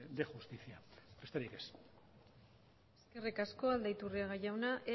de justicia besterik ez eskerrik asko aldaiturriaga jauna